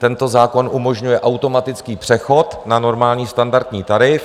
Tento zákon umožňuje automatický přechod na normální standardní tarif.